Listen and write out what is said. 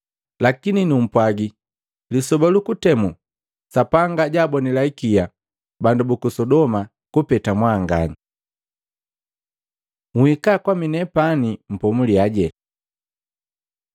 Lakini numpwagi, lisoba lu kutemu Sapanga jaabonila ikia bandu buku Sodoma kupeta mwanganya.” Nhika kwaminepani mpomuliyaje Luka 10:21-22